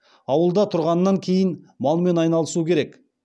ауылда тұрғаннан кейін малмен айналысу керек